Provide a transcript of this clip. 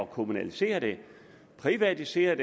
kommunalisere den privatisere